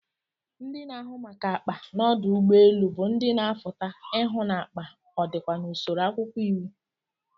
Ndi na ahụ maka akpa n'ọdụ ugbọ elu bu ndi na afuta ihụ n'akpa ọdikwa n'usoro akwụkwọ iwu.